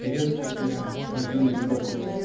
приветствую тебя мой юный друг